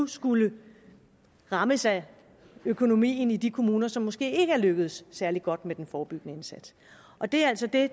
skulle rammes af økonomien i de kommuner som måske ikke er lykkedes særlig godt med den forebyggende indsats og det er altså det